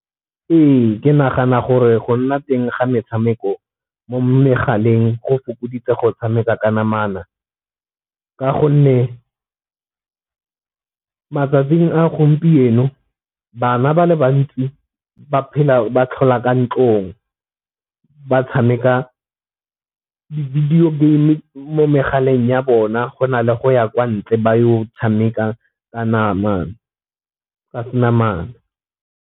Ee, ke nagana gore go nna teng ga metshameko mo megaleng go fokoditse go tshameka ka namana, ka gonne matsatsing a gompieno bana ba le bantsi ba phela ba tlhola ka ntlong. Ba tshameka di-video game mo megaleng ya bona go na le go ya kwa ntle ba yo tshameka ka se namana.